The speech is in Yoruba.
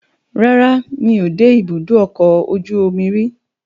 rara, mí o de ibudọ ọkọ ojú omí rí o